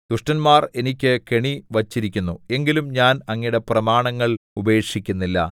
ദുഷ്ടന്മാർ എനിക്ക് കെണി വച്ചിരിക്കുന്നു എങ്കിലും ഞാൻ അങ്ങയുടെ പ്രമാണങ്ങൾ ഉപേക്ഷിക്കുന്നില്ല